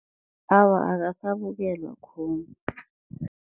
Awa, akasabukelwa khulu.